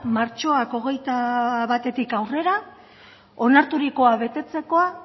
martxoaren hogeita batetik aurrera onarturikoa